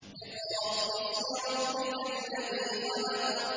اقْرَأْ بِاسْمِ رَبِّكَ الَّذِي خَلَقَ